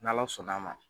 N' ala sɔnna a ma